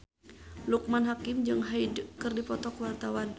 Loekman Hakim jeung Hyde keur dipoto ku wartawan